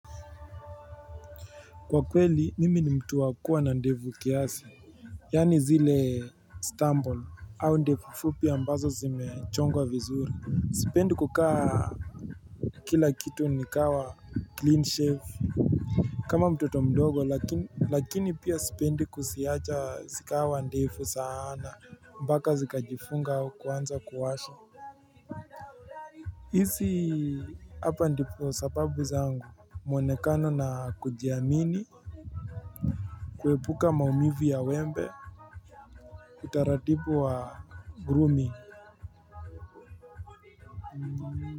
Kwa kweli mimi ni mtu wa kuwa na ndevu kiasi Yaani zile Istanbul au ndevu fupi ambazo zimechongwa vizuri Sipendi kukaa kila kitu likawa clean shave kama mtoto mdogo lakini pia sipendi kuziacha zikawa ndefu sana mpaka zikajifunga au kuanza kuwasha hizi hapa ndipo sababu zangu mwonekano na kujiamini kuepuka maumivu ya wembe utaratibu wa grooming.